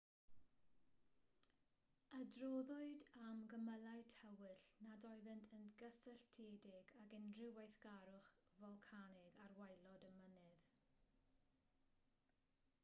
adroddwyd am gymylau tywyll nad oeddent yn gysylltiedig ag unrhyw weithgarwch folcanig ar waelod y mynydd